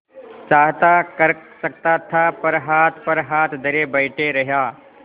चाहता कर सकता था पर हाथ पर हाथ धरे बैठे रहा